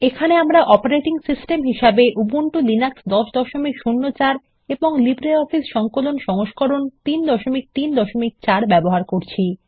এখানে আমরা operating system হিসেবে উবুন্টু লিনাক্স 1004 এবং লিব্রিঅফিস সংকলন সংস্করণ 334 ব্যবহার করচ্ছি